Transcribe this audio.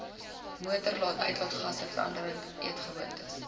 motoruitlaatgasse veranderde eetgewoontes